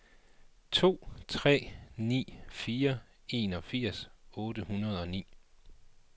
to tre ni fire enogfirs otte hundrede og ni